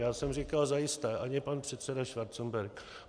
Já jsem říkal: Zajisté, ani pan předseda Schwarzenberg.